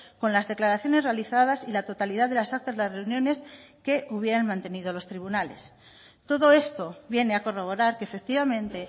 con las declaraciones realizadas y la totalidad de las actas las reuniones que hubieran mantenido los tribunales todo esto viene a corroborar que efectivamente